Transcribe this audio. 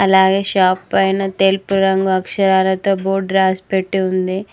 అలాగే షాప్ పైన తెలుపు రంగు అక్షరాలతో బోర్డు రాసిపెట్టి ఉంది.